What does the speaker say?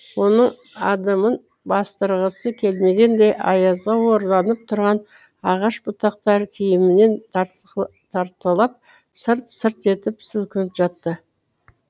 оның адымын бастырғысы келмегендей аязға оранып тұрған ағаш бұтақтары киімінен тартқылап сырт сырт етіп сілкініп жатты